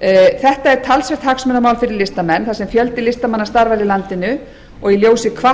þetta er talsvert hagsmunamál fyrir listamenn þar sem fjöldi listamanna starfar í landinu og í ljósi